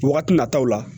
Wagati nataw la